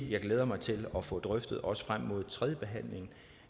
jeg glæder mig til at få drøftet også frem mod tredjebehandlingen